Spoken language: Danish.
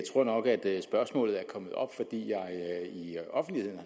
tror nok at spørgsmålet er kommet op fordi jeg i offentligheden